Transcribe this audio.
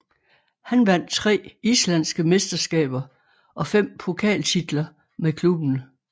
Han vandt tre islandske mesterskaber og fem pokaltitler med klubben